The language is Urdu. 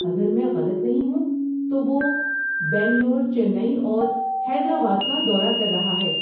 اگر میں غلط نہیں ہوں تو وہ بنگلور، چینئی اور حیدرآباد کا دورہ کر رہا ہے۔